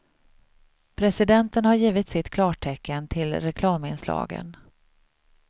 Presidenten har givit sitt klartecken till reklaminslagen.